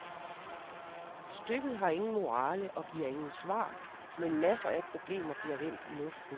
Stykket har ingen morale og giver ingen svar, men masser af problemer bliver vendt i luften.